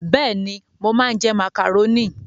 Bẹ́ẹ̀ni, mo máa ń jẹ màkàrónì.